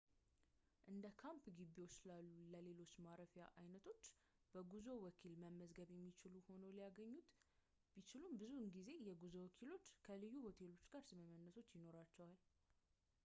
እንደካምፕ ግቢዎች ላሉ ለሌሎች ማረፊያ አይነቶች በጉዞ ወኪል መመዝገብ የሚችሉ ሆነው ሊያገኙት ቢችሉም ብዙ ጊዜ የጉዞ ወኪሎች ከልዩ ሆቴሎች ጋር ስምምነቶች ይኖራቸዋል